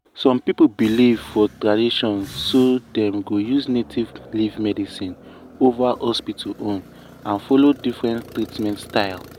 some people believe for tradition so dem dey use native leaf medicine over hospital own and follow different treatment style.